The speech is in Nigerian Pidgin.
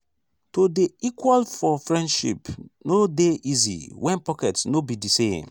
to dey equal for friendship no dey easy wen pocket no be di same.